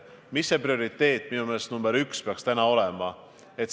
Mis see prioriteet number üks peaks täna olema?